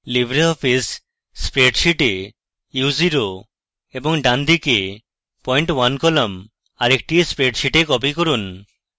libreoffice spreadsheet এ u0 u velocity এবং ডানদিকে point 1 কলাম আরেকটি স্প্রেডশীটে কপি করুন